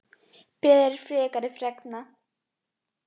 Beðið er frekari fregna